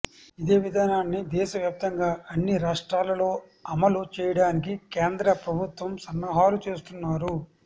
ఇదే విధానాన్ని దేశ వ్యాప్తంగా అన్ని రాష్ట్రాలలో అమలు చేయడానికి కేంద్ర ప్రభుత్వం సన్నాహాలు చేస్తున్నారు